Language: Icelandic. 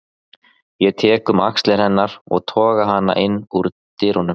Ég tek um axlir hennar og toga hana inn úr dyrunum.